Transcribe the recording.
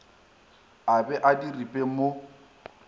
a be a diripe mo